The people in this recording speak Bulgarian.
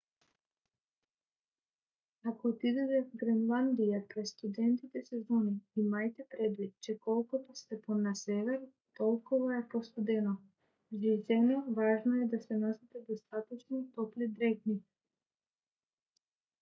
ако отидете в гренландия през студените сезони имайте предвид че колкото сте по - на север толкова е по - студено жизнено важно е да носите достатъчно топли дрехи